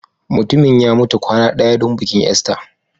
Mutumin ya mutu kwana ɗaya don bikin Easter